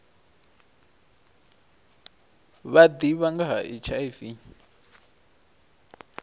vha ḓivha nga ha hiv